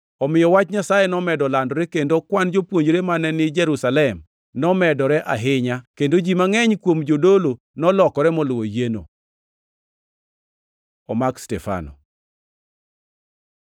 Omiyo Wach Nyasaye nomedo landore, kendo kwan jopuonjre mane ni Jerusalem nomedore ahinya, kendo ji mangʼeny kuom jodolo nolokore moluwo yieno. Omak Stefano